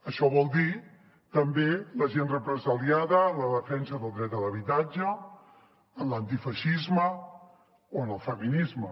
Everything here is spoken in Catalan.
això vol dir també la gent represaliada en la defensa del dret a l’habitatge en l’antifeixisme o en el feminisme